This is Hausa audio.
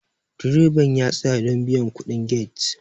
direban ya tsaya don biyan kudin get